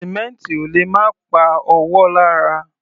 Sìmẹ́ǹtì ò lè má pa ọwọ́ lára.